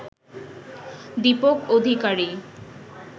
Dipak Adhikari